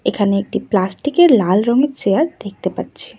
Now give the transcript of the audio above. এখানে একটি প্লাস্টিক -এর লাল রঙের চেয়ার দেখতে পাচ্ছি।